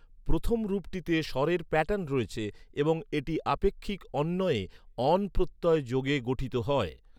প্রথম রূপটিতে স্বরের প্যাটার্ন রয়েছে এবং এটি আপেক্ষিক অণ্বয়ে 'অন' প্রত্যয় যোগে গঠিত হয়।